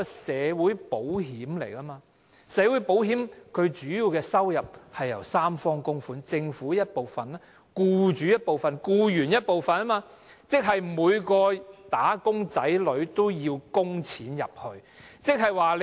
社會保險的主要收入是由三方供款而來，即政府、僱主及僱員，即每個"打工仔女"都要供款。